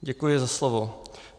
Děkuji za slovo.